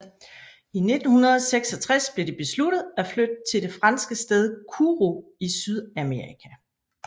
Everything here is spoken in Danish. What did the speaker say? I 1966 blev det besluttet at flytte til det franske sted Kourou i Sydamerika